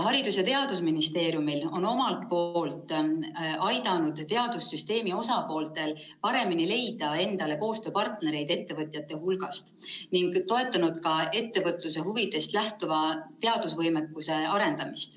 Haridus‑ ja Teadusministeerium on omalt poolt aidanud teadussüsteemi osapooltel paremini leida endale koostööpartnereid ettevõtjate hulgast ning toetanud ka ettevõtluse huvidest lähtuva teadusvõimekuse arendamist.